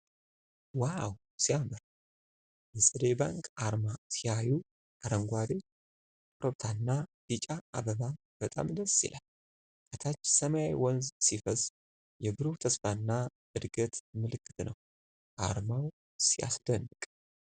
ዋው ሲያምር! የፀደይ ባንክ አርማ ሲያዩ! አረንጓዴ ኮረብታና ቢጫ አበባ በጣም ደስ ይላል። ከታች ሰማያዊ ወንዝ ሲፈስ። የብሩህ ተስፋና እድገት ምልክት ነው። አርማው ሲያስደንቅ!